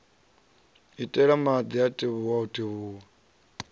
iteli madi a tevhuwa o